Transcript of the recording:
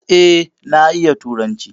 E, na iya turanci.